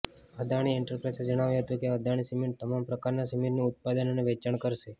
અદાણી એન્ટરપ્રાઇઝે જણાવ્યું હતું કે અદાણી સિમેન્ટ તમામ પ્રકારના સિમેન્ટનું ઉત્પાદન અને વેચાણ કરશે